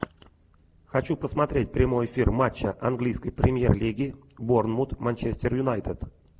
хочу посмотреть прямой эфир матча английской премьер лиги борнмут манчестер юнайтед